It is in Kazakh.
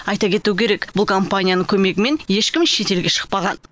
айта кету керек бұл компанияның көмегімен ешкім шетелге шықпаған